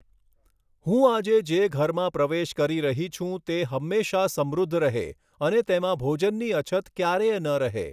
હું આજે જે ઘરમાં પ્રવેશ કરી રહી છું, તે હંમેશા સમૃદ્ધ રહે અને તેમાં ભોજનની અછત ક્યારેય ન રહે.